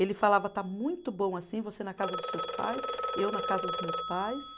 Ele falava, está muito bom assim, você na casa dos seus pais, eu na casa dos meus pais.